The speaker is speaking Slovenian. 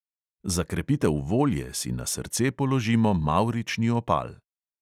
Za krepitev volje si na srce položimo mavrični opal.